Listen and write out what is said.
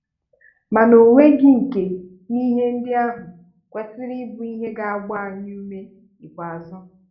Mana o nweghi nke n'ihe ndị ahụ kwesịrị ịbụ ihe ga-agba anyị úmé ikpeazụ.